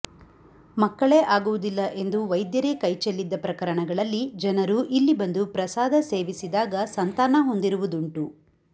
ಮಕ್ಕಳೇ ಆಗುವುದಿಲ್ಲ ಎಂದು ವೈದ್ಯರೇ ಕೈಚೆಲ್ಲಿದ ಪ್ರಕರಣಗಳಲ್ಲಿ ಜನರು ಇಲ್ಲಿ ಬಂದು ಪ್ರಸಾದ ಸೇವಿಸಿದಾಗ ಸಂತಾನ ಹೊಂದಿರುವುದುಂಟು